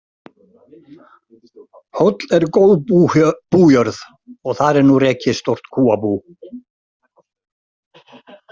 Hóll er góð bújörð og þar er nú rekið stórt kúabú.